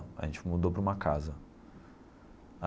A gente mudou para uma casa.